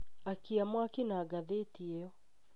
Akiia mwaki na ngathĩti ĩyo